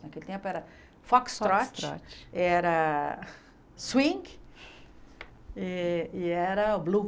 Naquele tempo era foxtrot, Foxtrot Era swing e era